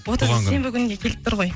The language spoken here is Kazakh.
отызы сенбі күніне келіп тұр ғой